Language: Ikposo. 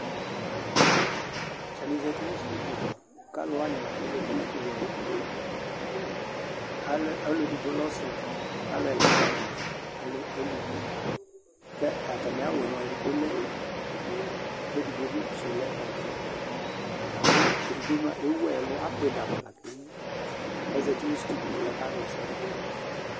Atanɩ zati nʋ stuidio mʋa, kʋ alʋ wanɩ kʋ azati nʋ stuidio yɛ mʋa, alɛ ɔlʋ edigbo lɛ ɔsɩ kʋ alʋ ɛla wanɩ mʋa, alɛ eluvi kʋ atamɩ awʋ yɛ mʋa, edigbo lɛ ʋblɔ kʋ edigbo bɩ sʋ lɛ ɔvɛ la kʋ edigbo mʋa, ewu ɛlʋ, akpɩ dama la kʋ ewu kʋ azati nʋ stuidio yɛ kʋ akawla ɛsɛ dʋ